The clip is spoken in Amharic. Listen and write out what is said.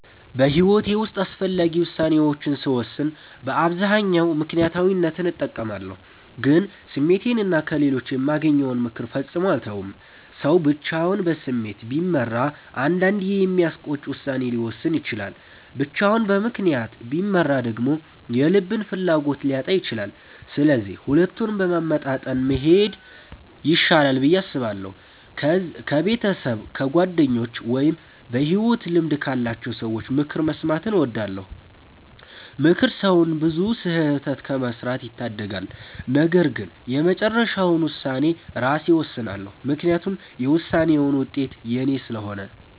በሕይወቴ ውስጥ አስፈላጊ ውሳኔዎችን ስወስን በአብዛኛው ምክንያታዊነትን እጠቀማለሁ፣ ግን ስሜቴንና ከሌሎች የማገኘውን ምክር ፈጽሞ አልተውም። ሰው ብቻውን በስሜት ቢመራ አንዳንዴ የሚያስቆጭ ውሳኔ ሊወስን ይችላል፤ ብቻውን በምክንያት ቢመራ ደግሞ የልብን ፍላጎት ሊያጣ ይችላል። ስለዚህ ሁለቱንም በማመጣጠን መሄድ ይሻላል ብዬ አስባለሁ። ከቤተሰብ፣ ከጓደኞች ወይም በሕይወት ልምድ ካላቸው ሰዎች ምክር መስማትን እወዳለሁ። ምክር ሰውን ብዙ ስህተት ከመስራት ይታደጋል። ነገር ግን የመጨረሻውን ውሳኔ ራሴ እወስናለሁ፤ ምክንያቱም የውሳኔውን ውጤት የኔ ስለሆነ።